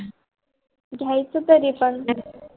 घेईचे थारी पण